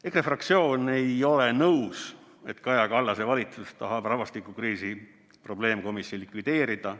EKRE fraktsioon ei ole nõus, et Kaja Kallase valitsus tahab rahvastikukriisi probleemkomisjoni likvideerida.